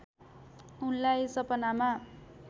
उनलाई सपनामा